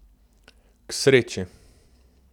K sreči!